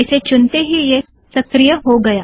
इसे चुनते ही यह सक्रिय्य हो गया